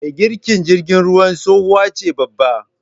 me girkin jirgin ruwan tsohuwace babba